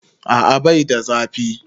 A'a bai da zafi.